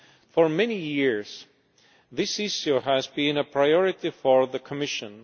For many years, this issue has been a priority for the Commission.